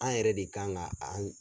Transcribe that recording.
An yɛrɛ de kan ka an